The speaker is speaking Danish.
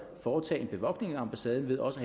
foretage en bevogtning af ambassaden ved også